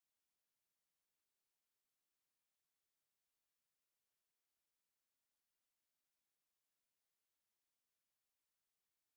V tem trenutku pa je položaj slovenskega gospodarstva v Evropi takšen, da če ne bo sprememb, bomo posledice čutili vrsto let.